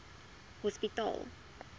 hospitaal